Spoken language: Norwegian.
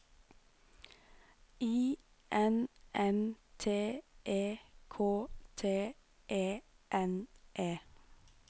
I N N T E K T E N E